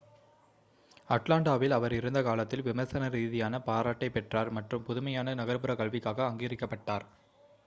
அட்லாண்டாவில் அவர் இருந்த காலத்தில் விமர்சன ரீதியான பாராட்டைப் பெற்றார் மற்றும் புதுமையான நகர்ப்புற கல்விக்காக அங்கீகரிக்கப்பட்டார்